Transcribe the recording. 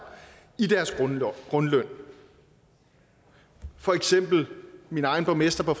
i deres grundløn for eksempel når min egen borgmester på